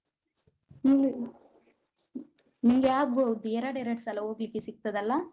ಇದ್ ನಿಂಗೆ ಆಗ್ಬೋದು ಎರಡ್ ಎರಡ್ ಸಲ ಹೋಗ್ಲಿಕ್ಕೆ ಸಿಗ್ತದಲ್ಲ.